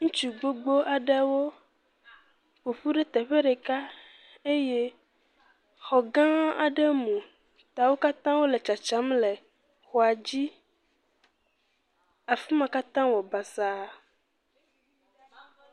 Ŋutsu gbogbo aɖewo ƒo ƒu ɖe teƒe ɖeka eye xɔ gã aɖe mu ta wo katã wole tsatsam le xɔa dzi. Afi ma katã wɔ basa.